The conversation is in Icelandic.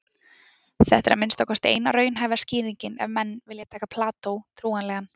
Þetta er að minnsta kosti eina raunhæfa skýringin ef menn vilja taka Plató trúanlegan.